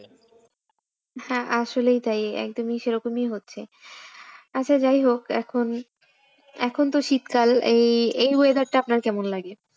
হ্যাঁ আসলেই তাই একদমই সেরকমই হচ্ছে। আচ্ছা যাই হোক এখন এখন তো শীতকাল এই এই weather টা আপনার কেমন লাগে?